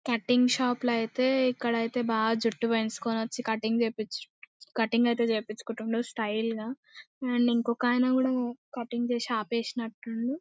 Cutting shop లో ఐతే ఇక్కడైతే బాగా జుట్టు పెంచుకుని వచ్చి కటింగ్ చేపించి కటింగ్ ఐతే చేపించుకున్రు స్టైల్ గా అండ్ ఇంకో అయన కూడా కటింగ్ చేసుకొని ఆపేసి నట్టున్నాడు.